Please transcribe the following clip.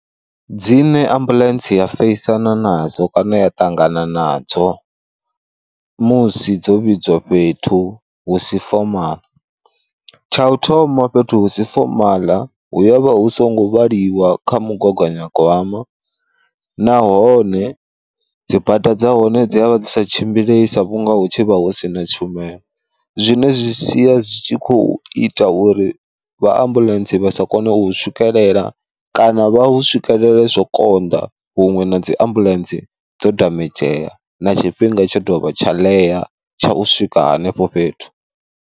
Dzine ambuḽentse ya feisana nadzo kana ya ṱangana nadzo musi dzo vhidziwa fhethu husi fomaḽa. Tsha u thoma fhethu husi fomaḽa hu ya vha hu songo vhaliwa kha mugaganya gwama, nahone dzibada dza hone dzi avha dzi sa tshimbilei sa vhunga hu tshi vha husina tshumelo, zwine zwi sia zwi tshi kho ita uri vha ambuḽentse vha sa kone u hu swikelela kana vha hu swikelele zwo konḓa huṅwe na dzi ambuḽentse dzo damedzheya na tshifhinga tsha dovha tsha ḽea tsha u swika hanefho fhethu.